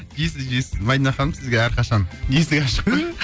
жейсің жейсің мадина ханым сізге әрқашан есік ашық қой